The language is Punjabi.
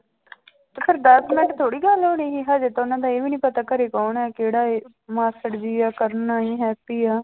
ਦਸ ਮਿੰਟ ਥੋੜ੍ਹੀ ਗੱਲ ਹੋ ਜਾਏਗੀ ਹਜੇ ਤਾਂ ਉਹਨਾਂ ਦਾ ਇਹ ਵੀ ਨੀ ਪਤਾ ਘਰੇ ਕੌਣ ਹੈ, ਕਿਹੜਾ ਹੈ ਮਾਸੜ ਜੀ ਹੈ, ਕਰਨ ਆ, ਹੈਪੀ ਆ।